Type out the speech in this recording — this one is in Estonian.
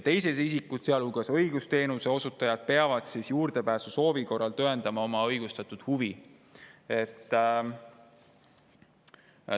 Teised isikud, sealhulgas õigusteenuse osutajad, peavad juurdepääsusoovi korral tõendama oma õigustatud huvi.